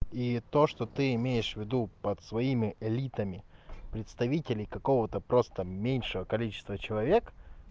и то что ты имеешь в виду под своими элитами представителей какого-то просто меньшего количества человек